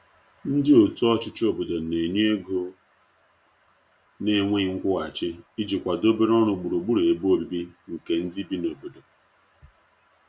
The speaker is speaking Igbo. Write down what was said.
ndi otu ochichi obodo n'enye ego na nweghi nkwuhachi iji kwado obere ọrụ gburugburu ebe ọbìbi nke ndi bi n'obodo